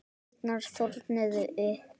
Kýrnar þornuðu upp.